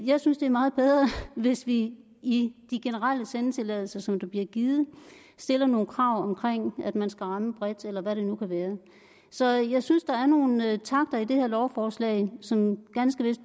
jeg synes det er meget bedre hvis vi i de generelle sendetilladelser som der bliver givet stiller nogle krav om at man skal ramme bredt eller hvad det nu kan være så jeg synes der er nogle takter i det her lovforslag som